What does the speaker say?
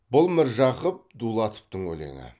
бұл міржақып дулатовтың өлеңі